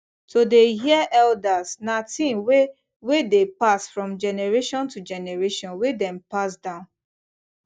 to dey hear elders na thing wey wey dey pass from generation to generation wey dem pass down